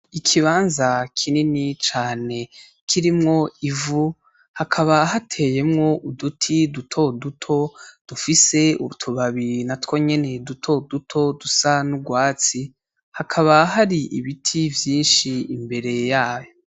Ikibanza kinini cane kirimwo ivu hakaba hateyemwo uduti dutoduto dufise utubabi natwo nyene dutoduto dusa n'urwatsi , hakaba hari ibiti vyinshi imbere yavyo.